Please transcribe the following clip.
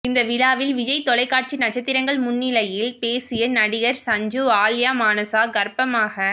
இந்த விழாவில் விஜய் தொலைக்காட்சி நட்சத்திரங்கள் முன்னிலையில் பேசிய நடிகர் சஞ்சீவ் ஆல்யா மானஸா கர்ப்பமாக